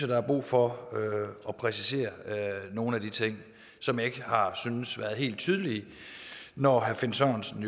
der er brug for at præcisere nogle af de ting som jeg ikke har syntes har været helt tydelige når herre finn sørensen